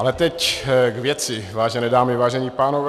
Ale teď k věci, vážené dámy, vážení pánové.